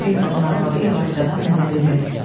Direktorun arvadı yavaşcadan mənə dedi: